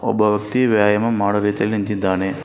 ಒಬ್ಬ ವ್ಯಕ್ತಿ ವ್ಯಯಾಮ ಮಾಡೋ ರೀತಿಯಲ್ಲಿ ನಿಂತಿದ್ದಾನೆ.